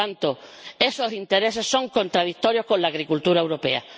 Por tanto, esos intereses son contradictorios con la agricultura europea.